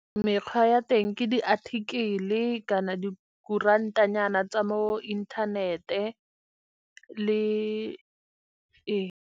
Mekgwa ya teng ke diathikele kana di kurantanyana tsa mo inthanete le.